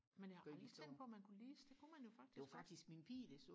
men jeg har aldrig tænkt på man kunne lease det kunne man faktisk godt